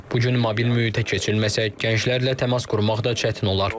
Bu gün mobil mühitə keçilməsək, gənclərlə təmas qurmaq da çətin olar.